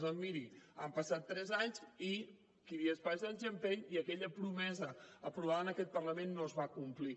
doncs miri han passat tres anys i qui dies passa anys empeny i aquella promesa aprovada en aquest parlament no es va complir